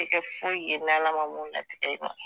Tɛ kɛ foyi ye n'ALA ma mun latitigɛ i ma.